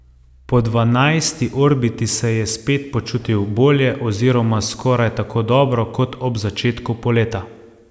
Po dvanajsti orbiti se je spet počutil bolje oziroma skoraj tako dobro kot ob začetku poleta.